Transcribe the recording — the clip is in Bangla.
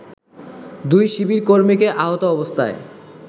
দুই শিবিরকর্মীকে আহত অবস্থায়